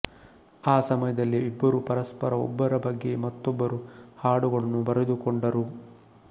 ಆ ಸಮಯದಲ್ಲಿ ಇಬ್ಬರೂ ಪರಸ್ಪರ ಒಬ್ಬರ ಬಗ್ಗೆ ಮತ್ತೊಬ್ಬರು ಹಾಡುಗಳನ್ನು ಬರೆದುಕೊಂಡರು